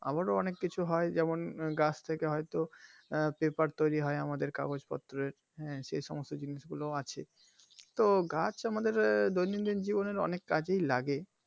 আবারও অনেক কিছু হয় যেমন গাছ থেকে হয়তো আহ paper তৈরি হয় আমাদের কগজ পত্রের যা আমাদের সি সমস্ত জিনিস গুলো আছে তো গাছ আমাদের দৈনন্দিন জীবনে অনেক কাজেই লাগে